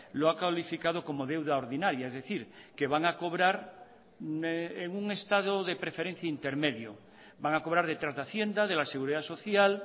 lo ha calificado como deuda ordinaria es decir que van a cobrar en un estado de preferencia intermedio van a cobrar detrás de hacienda de la seguridad social